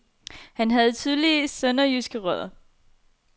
Han havde tydelige sønderjyske rødder.